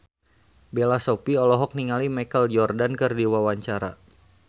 Bella Shofie olohok ningali Michael Jordan keur diwawancara